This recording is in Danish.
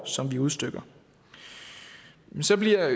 som vi udstikker så bliver